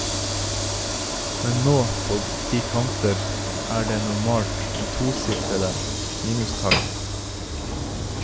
Men på de kanter er det normalt med tosifrede minustall.